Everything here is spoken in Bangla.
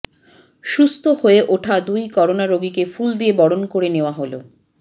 সুস্থ হয়ে ওঠা দুই করোনা রোগীকে ফুল দিয়ে বরণ করে নেয়া হলো